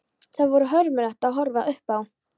Það var hörmulegt að horfa upp á.